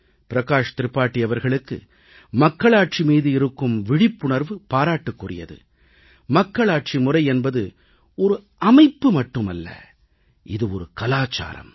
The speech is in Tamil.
பிரகாஷ் திரிபாதி அவர்களுக்கு மக்களாட்சி மீது இருக்கும் விழிப்புணர்வு பாராட்டுக்குரியது மக்களாட்சி முறை என்பது ஒரு அமைப்பு மட்டுமல்ல இது ஒரு கலாச்சாரம்